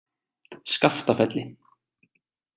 Skaftafelli